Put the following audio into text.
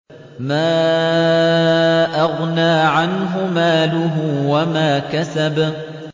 مَا أَغْنَىٰ عَنْهُ مَالُهُ وَمَا كَسَبَ